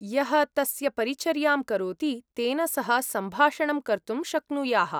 यः तस्य परिचर्यां करोति तेन सह सम्भाषणं कर्तुं शक्नुयाः।